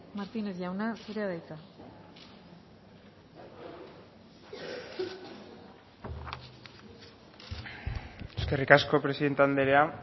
martínez jauna zurea da hitza eskerrik asko presidente andrea